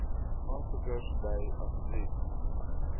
aansoekers dui asseblief